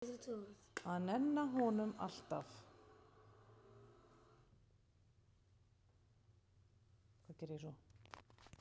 Að nenna honum, alltaf.